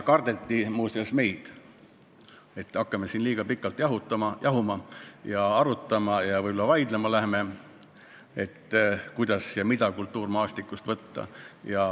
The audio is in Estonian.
Kardeti muuseas meid, et äkki hakkame siin liiga pikalt jahuma ja arutama, võib-olla läheme veel vaidlema selle üle, kuidas ja mida kultuurmaastikust võtta.